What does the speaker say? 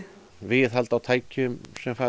viðhald á tækjum sem fara